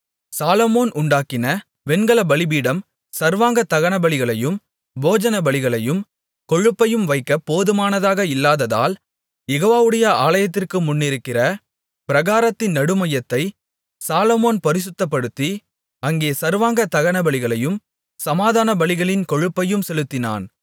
சாலொமோன் உண்டாக்கின வெண்கலப்பலிபீடம் சர்வாங்க தகனபலிகளையும் போஜன பலிகளையும் கொழுப்பையும் வைக்க போதுமானதாக இல்லாததால் யெகோவாவுடைய ஆலயத்திற்கு முன்னிருக்கிற பிராகாரத்தின் நடுமையத்தைச் சாலொமோன் பரிசுத்தப்படுத்தி அங்கே சர்வாங்க தகனபலிகளையும் சமாதானபலிகளின் கொழுப்பையும் செலுத்தினான்